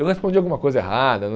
Eu respondi alguma coisa errada.